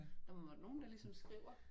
Der må da være nogen der ligesom skriver